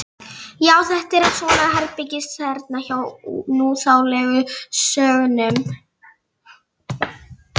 Já, þetta er svona herbergisþerna hjá núþálegu sögnunum.